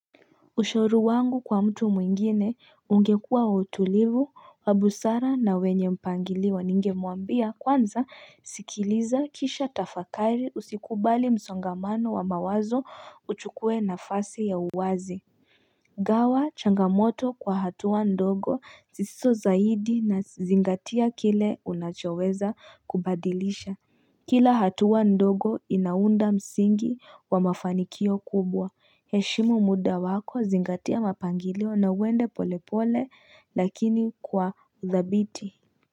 Ushauri wangu kwa mtu mwingine ungekuwa wa utulivu wa busara na wenye mpangilio ningemwambia kwanza sikiliza kisha tafakari usikubali msongamano wa mawazo uchukue nafasi ya uwazi gawa changamoto kwa hatua ndogo zisizo zaidi na zingatia kile unachoweza kubadilisha Kila hatua ndogo inaunda msingi wa mafanikio kubwa. Heshimu muda wako zingatia mapangilio nauende polepole lakini kwa uthabiti.